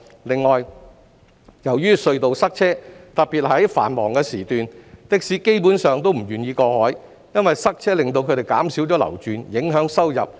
另外，由於隧道塞車，特別是在繁忙時段，的士司機基本上都不願意過海，因為塞車令他們減少流轉，影響收入。